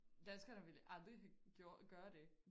Danskerne ville aldrig have gjorde gøre det